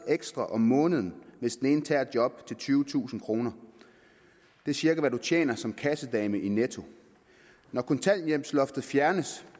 ekstra om måneden hvis den ene tager et job til tyvetusind kroner det er cirka hvad man tjener som kassedame i netto når kontanthjælpsloftet fjernes